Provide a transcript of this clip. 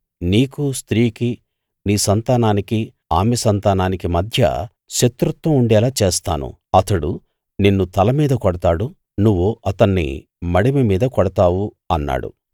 నీకూ స్త్రీకీ నీ సంతానానికీ ఆమె సంతానానికీ మధ్య శత్రుత్వం ఉండేలా చేస్తాను అతడు నిన్ను తలమీద కొడతాడు నువ్వు అతన్ని మడిమె మీద కొడతావు అన్నాడు